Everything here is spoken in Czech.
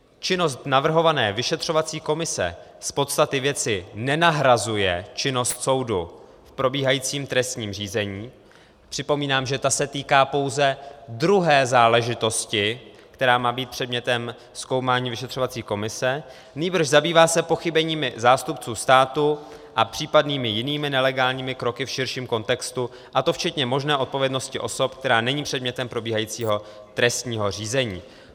Činnost navrhované vyšetřovací komise z podstaty věci nenahrazuje činnost soudu v probíhajícím trestním řízení, připomínám, že ta se týká pouze druhé záležitosti, která má být předmětem zkoumání vyšetřovací komise, nýbrž zabývá se pochybeními zástupců státu a případnými jinými nelegálními kroky v širším kontextu, a to včetně možné odpovědnosti osob, která není předmětem probíhajícího trestního řízení.